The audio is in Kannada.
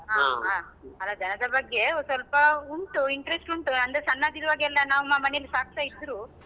ಹ ಹ ಅಲ್ಲ ದನದ ಬಗ್ಗೆ ಸ್ವಲ್ಪ ಉಂಟು interest ಉಂಟು ಅಂದ್ರೇ ಸಣ್ಣದಿರುವಾಗ ನಮ್ಮ ಮನೇಲ್ಲಿ ಸಾಕ್ತಾಇದ್ರು.